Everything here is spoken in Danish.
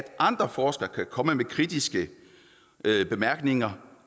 andre forskere kan komme med kritiske bemærkninger